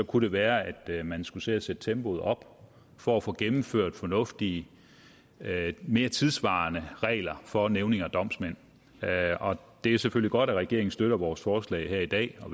kunne det være at man skulle til at sætte tempoet op for at få gennemført fornuftige mere tidssvarende regler for nævninge og domsmænd det er selvfølgelig godt at regeringen støtter vores forslag her i dag og